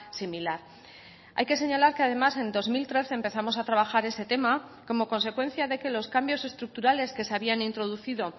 similar hay que señalar que además en dos mil trece empezamos a trabajar ese tema como consecuencia de que los cambios estructurales que se habían introducido